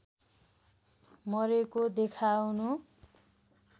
मरेको देखाउनु